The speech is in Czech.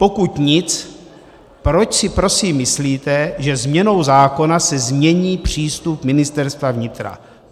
Pokud nic, proč si prosím myslíte, že změnou zákona se změní přístup Ministerstva vnitra?